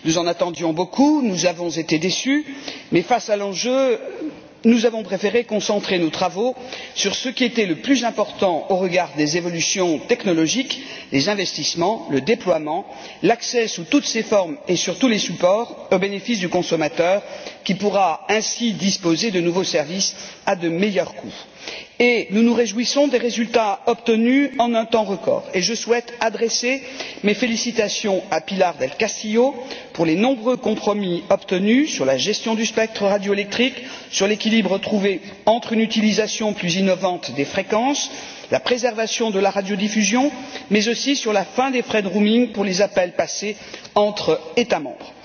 Nous en attendions beaucoup, nous avons été déçus, mais face à l'enjeu, nous avons préféré concentrer nos travaux sur ce qui était le plus important au regard des évolutions technologiques, à savoir les investissements, le déploiement, l'accès sous toutes ses formes et sur tous les supports au bénéfice du consommateur, qui pourra ainsi disposer de nouveaux services à de meilleurs coûts. Nous nous réjouissons des résultats obtenus en un temps record et je souhaite adresser mes félicitations à Pilar del Castillo pour les nombreux compromis obtenus sur la gestion du spectre radioélectrique, sur l'équilibre trouvé entre une utilisation plus innovante des fréquences et la préservation de la radiodiffusion, mais aussi sur la fin des frais de roaming pour les appels passés entre États membres.